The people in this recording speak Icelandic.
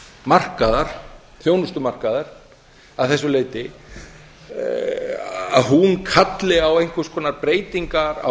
markaðar þjónustumarkaðar að þessu leyti að hún kalli á einhvers konar breytingar á